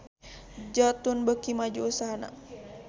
Jotun beuki maju usahana